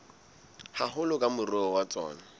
haholo ke moruo wa tsona